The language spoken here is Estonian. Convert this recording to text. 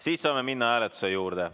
Siis saame minna hääletuse juurde.